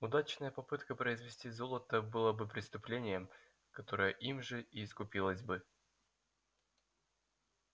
удачная попытка произвести золото была бы преступлением которое им же и искупилось бы